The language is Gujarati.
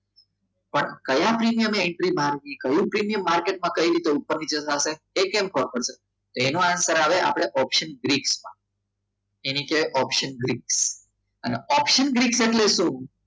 પણ કયા પ્રીમિયમ એન્ટ્રી માંગે કયું પ્રીમિયમ માર્કેટમાં કહ્યું કઈ રીતે ઉપર-નીચે થશે એ કેમ ખબર છે એનો answer આવે ઓપ્શન ગ્રીપ્સ એની નીચે ઓપ્શન ગ્રીપ્સ અને ઓપ્શન ગ્રીપ્સ આટલી સુ?